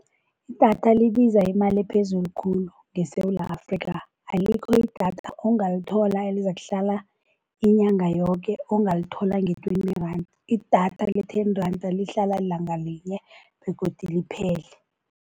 Idatha libiza imali ephezulu khulu ngeSewula Afrika alikho idatha ongalithola elizakuhlala inyanga yoke ongalithola nge-twenty rand. Idatha le-ten rand lihlala ilanga linye begodu liphele.